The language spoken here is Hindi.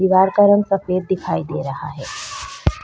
दीवार का रंग सफेद दिखाई दे रहा है।